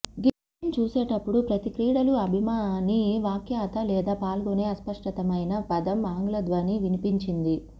game చూసేటప్పుడు ప్రతి క్రీడలు అభిమాని వ్యాఖ్యాత లేదా పాల్గొనే అస్పష్టమైన పదం ఆంగ్ల ధ్వని వినిపించింది